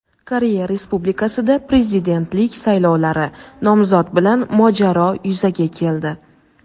Koreya Respublikasida Prezidentlik saylovlari: nomzod bilan mojaro yuzaga keldi.